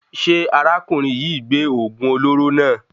Ṣé arákùnrin yìí gbé oògùn olóró náà?